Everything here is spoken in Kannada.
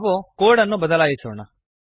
ನಾವು ಇಲ್ಲಿ ಕೋಡ್ ಅನ್ನು ಬದಲಾಯಿಸೋಣ